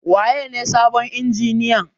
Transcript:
Waye ne sabon injiniyan?